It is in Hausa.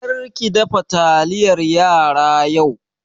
Kar ki dafa taliyar yara yau!